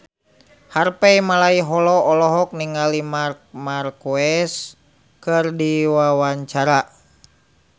Harvey Malaiholo olohok ningali Marc Marquez keur diwawancara